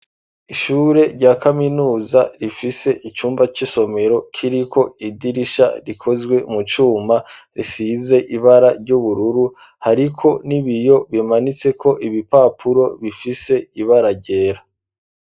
Ishure rya kaminuza rifise icumba c'isomero kiriko idirisha rikozwe mu cuma risize ibara ry'ubururu hariko n'ibiyo bimanitseko ibipapuro bifise ibara ryera.